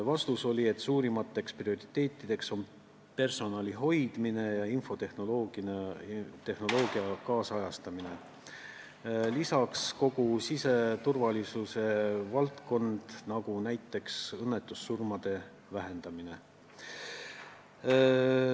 Vastus: suurimad prioriteedid on personali hoidmine ja infotehnoloogia nüüdisajastamine, lisaks kogu siseturvalisuse valdkond, nagu näiteks õnnetussurmade vähendamine.